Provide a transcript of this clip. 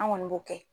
An kɔni b'o kɛ